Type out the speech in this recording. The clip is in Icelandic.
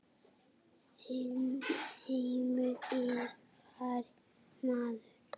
Þinn heimur er farinn maður.